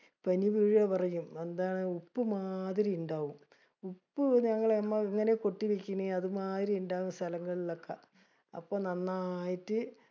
പനി വീഴാ പറയും. എന്താണ് ഉപ്പുമാതിരി ഇണ്ടാവും. ഉപ്പ് ഞങ്ങള് ഇങ്ങനെ കൊട്ടി വിരിക്കണേ അതുമാതിരി ഇണ്ടാകും സ്ഥലങ്ങളിൽ ഒക്കെ. അപ്പൊ നന്നായിട്ട്